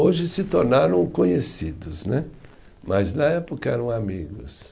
Hoje se tornaram conhecidos né, mas na época eram amigos.